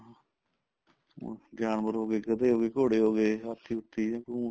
ਹੁਣ ਜਾਨਵਰ ਹੋਗੇ ਗੱਧੇ ਹੋਗੇ ਘੋੜੇ ਹੋਗੇ ਹਾਥੀ ਹੁਥੀ ਊਂਠ